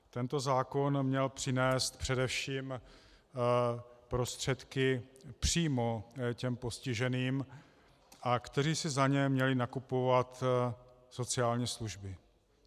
Tento zákon měl přinést především prostředky přímo těm postiženým, kteří si za ně měli nakupovat sociální služby.